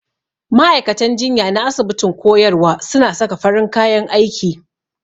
Ma'aikatan jinya na asibitin koyarwa suna saka farin kayan aiki.